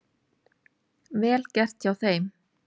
Vel gert hjá þeim.